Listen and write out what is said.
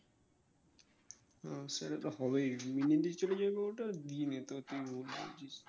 ও সেটা তো হবেই